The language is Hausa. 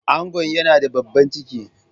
Angon yana da babban ciki.